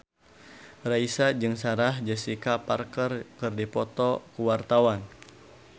Raisa jeung Sarah Jessica Parker keur dipoto ku wartawan